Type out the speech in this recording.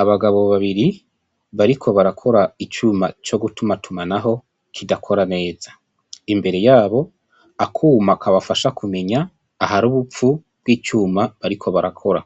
Abagabo babiri bariko barakora icuma co gutumatumanaho kidakora neza, imbere yabo akuma kabafasha kumenya ahari ubupfu bw'icuma bariko barakora,